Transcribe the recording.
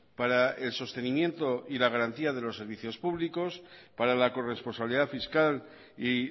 para el sostenimiento y la garantía de los servicios públicos para la corresponsabilidad fiscal y